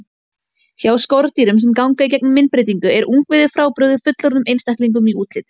Hjá skordýrum sem ganga í gegnum myndbreytingu er ungviðið frábrugðið fullorðnum einstaklingum í útliti.